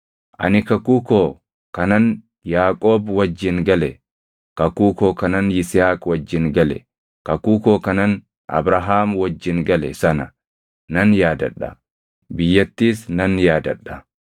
ani kakuu koo kanan Yaaqoob wajjin gale, kakuu koo kanan Yisihaaq wajjin gale, kakuu koo kanan Abrahaam wajjin gale sana nan yaadadha; biyyattiis nan yaadadha.